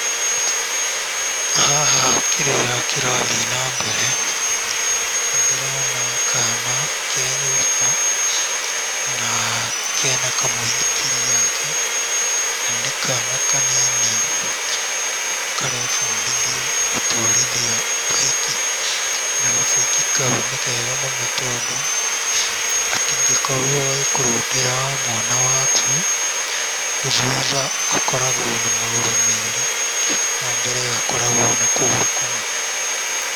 Haha kĩrĩa kĩrathiĩ na mbere nĩ ndĩrona kaana ke nyũmba na kena kamũithikiri gake na nĩ kaana kanini karebundithia gũtwarithia mbaiki na gabaiki kau nĩ kega mũno tondũ gatingĩkorwo gagĩkũrũndĩra mwana waku. Thutha gakoragwo na magũrũ merĩ na mbere gaakoragwo na kũgũrũ kũmwe.